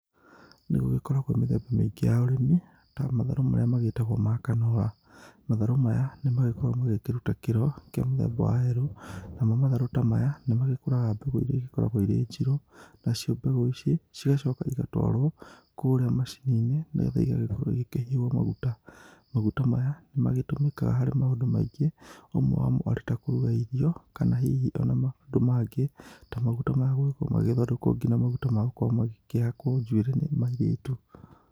Nĩgũgĩkoragwo mĩthemba mĩingĩ ya ũrĩmi ta matharũ maya magĩtagwo ma kanora. Matharũ maya nĩmagĩkoragwo makĩruta kĩro kĩa mũthemba wa yerũ, namo matharũ ta maya nĩmagĩkũraga mbegũ iria igĩkoragwo irĩ njirũ. Nacio mbegũ ici cigacoka igĩtwarwo kũrĩa macini-inĩ, nĩgetha igĩkoragwo ikĩhihwo maguta. Magũta maya nĩmagĩtũmĩkaga harĩ maũndũ maingĩ ũmwe wamo arĩ ta kũruga irio, kana hihi ona maũndũ mangĩ na maguta maya makoragwo magĩthondekwo nginya maguta ma gũkorwo makĩhakwo njuĩrĩ ma airĩtu.